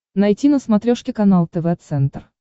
найти на смотрешке канал тв центр